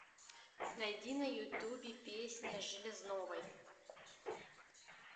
найди на ютубе песня железновой